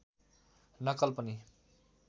नक्कल पनि